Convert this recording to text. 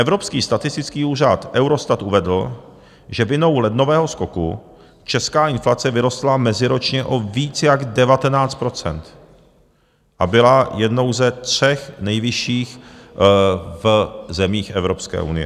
Evropský statistický úřad Eurostat uvedl, že vinou lednového skoku česká inflace vyrostla meziročně o víc jak 19 % a byla jednou ze tří nejvyšších v zemích Evropské unie.